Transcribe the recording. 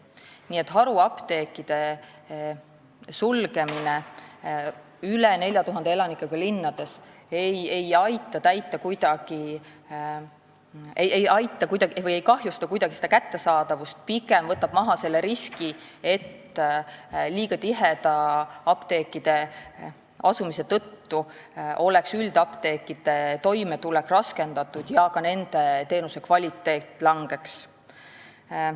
Nii et haruapteekide sulgemine üle 4000 elanikuga linnades ei kahjusta kuidagi teenuse kättesaadavust, pigem võtab maha selle riski, et apteekide liiga tiheda asumise tõttu oleks üldapteekide toimetulek raskendatud ja ka kvaliteet langeks.